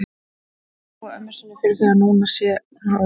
Hún ætlar að trúa ömmu sinni fyrir því núna að hún sé ólétt.